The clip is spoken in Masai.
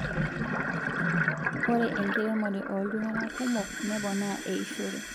Ore inkeremore oltungana kumok neepona eishore